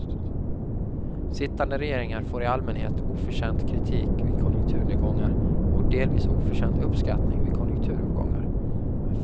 Sittande regeringar får i allmänhet oförtjänt kritik vid konjunkturnedgångar, och delvis oförtjänt uppskattning vid konjunkturuppgångar.